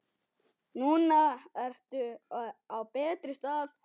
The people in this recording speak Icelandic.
Núna ertu á betri stað.